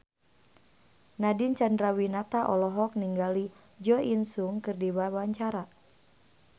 Nadine Chandrawinata olohok ningali Jo In Sung keur diwawancara